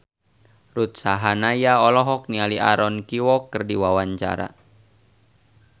Ruth Sahanaya olohok ningali Aaron Kwok keur diwawancara